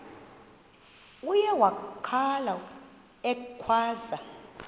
uye wakhala ekhwaza